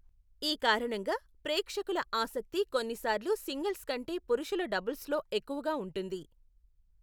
ఈ కారణంగా, ప్రేక్షకుల ఆసక్తి కొన్నిసార్లు సింగిల్స్ కంటే పురుషుల డబుల్స్లో ఎక్కువగా ఉంటుంది.